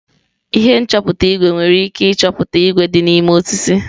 Ihe nchọpụta ígwè nwere ike ịchọpụta ígwè dị n'ime osisi.